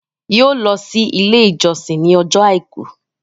yóò lọ si ilé ìjósìn ní Ọjọ́ aìkú.